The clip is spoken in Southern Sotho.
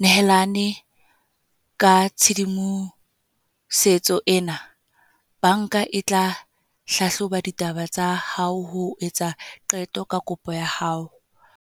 nehelane ka tshedimosetso ena, bank-a e tla hlahloba ditaba tsa hao ho etsa qeto ka kopo ya hao.